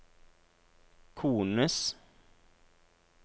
kones